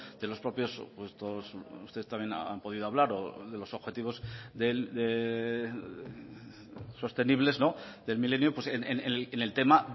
de los propios ustedes también han podido hablar de los objetivos sostenibles del milenio en el tema